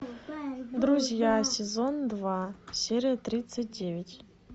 друзья сезон два серия тридцать девять